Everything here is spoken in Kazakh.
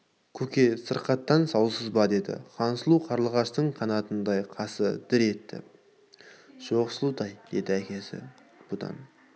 көке сыркаттан саусыз ба деді хансұлу қарлығаштың қанатындай қасы дір етіп жок сұлутай деді әкесі бұдан